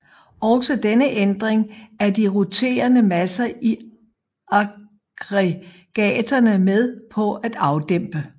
Også denne ændring er de roterende masser i aggregaterne med på at afdæmpe